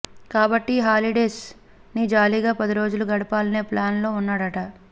కాబట్టి హాలిడేస్ ని జాలీగా పదిరోజులు గడపాలనే ప్లాన్ లో ఉన్నాడట